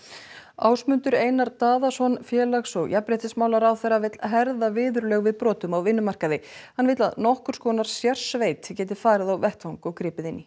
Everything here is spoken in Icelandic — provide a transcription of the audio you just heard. Ásmundur Einar Daðason félags og jafnréttismálaráðherra vill herða viðurlög við brotum á vinnumarkaði hann vill að nokkurs konar sérsveit geti farið á vettvang og gripið inn í